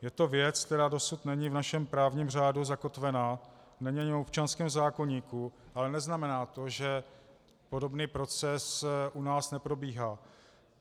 Je to věc, která dosud není v našem právním řádu zakotvena, není ani v občanském zákoníku, ale neznamená to, že podobný proces u nás neprobíhá.